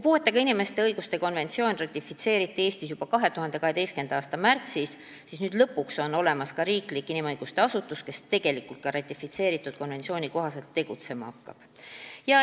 Puuetega inimeste õiguste konventsioon ratifitseeriti Eestis juba 2012. aasta märtsis ja nüüd lõpuks on olemas ka riiklik inimõiguste asutus, kes ratifitseeritud konventsiooni kohaselt ka tegutsema hakkab.